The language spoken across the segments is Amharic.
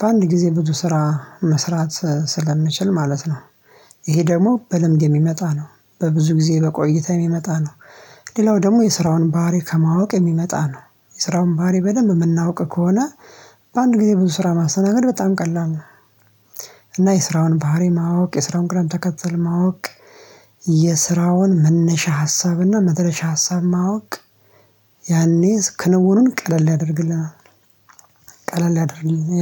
በአንድ ጊዜ ብዙ ስራ መስራት ስለምንችል ማለት ነው። ይሄ ደግሞ በልምድ የሚመጣ ነው በብዙ ጊዜ በቆይታ የሚመጣ ነው። ሌላው ደግሞ የስራውን ባህሪ ከማወቅ የሚመጣ ነው የስራውን ባህሪ በደንብ የምናውቅ ከሆነ በአንድ ጊዜ ብዙ ስራ ማስተናገድ በጣም ቀላል ነው እና የስራውን ባህሪ ማወቅ፣ የስራውን ቅዳሜ ተከትለው ማወቅ፣ የስራውን መነሻ ሀሳብና መድረሻ ሀሳብ ማወቅ፣ ያኔ ክንውኑን ቀለል ያደርግልናል ቀለል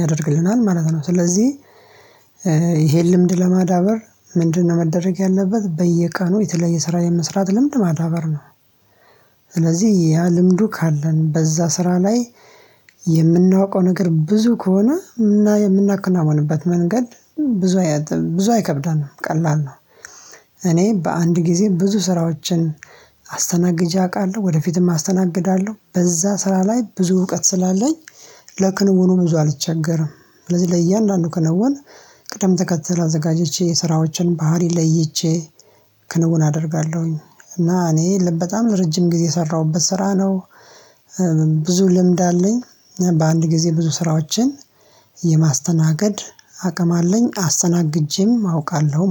ያደርግልናል ማለት ነው ስለዚህ ይሄን ልምድ ለማዳበር ምንድነው መደረግ ያለበት በየቀኑ የተለያየ ስራ የመስራት ልምድ ማዳበር ነው። ስለዚህ ያ ልምዱ ካለን በዛ ስራ ላይ የምናውቀው ነገር ብዙ ከሆነ የምናከናውንበት መንገድ ብዙ ብዙ አይከብደንም ቀላል ነው። እኔ በአንድ ጊዜ ብዙ ስራዎችን አስተናግጄ አውቃለሁ ወደፊትም አስተናግዳለሁ በዛ ስራ ላይ ብዙ እውቀት ስላለኝ ለክንውኑ ብዙ አልቸገርም ስለዚህ ለእያንዳንዱ ክንውን ቅደም ተከተል አዘጋጅቼ የስራዎችን ባህሪ ለይቼ ክንውን አደርጋለሁኝ እና እኔ ልበ በጣም ለረጅም ጊዜ የሰራሁበት ስራ ነው፣ ብዙ ልምድ አለኝ በአንድ ጊዜ ብዙ ስራዎችን የማስተናገድ አቅም አለኝ አስተናግጄም አውቃለሁ።